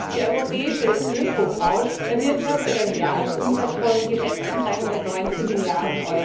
Die europäische Ökobranche erwirtschaftet einen Jahresumsatz von geschätzten 319 Mrd.